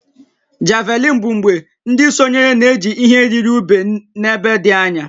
Javelin bụ mgbe ndị sonyere na-eji ihe yiri ube n'ebe dị anya